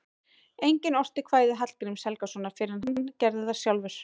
Enginn orti kvæði Hallgríms Helgasonar fyrr en hann gerði það sjálfur.